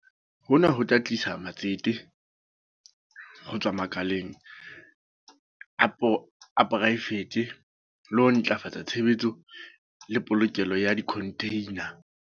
Hona ho tla tlisa matsete ho tswa makaleng a poraefete le ho ntlafatsa tshebetso le polokelo ya dikhontheina.